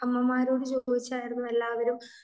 അമ്മമാരോട് ചോദിച്ചായിരുന്നു എല്ലാവരും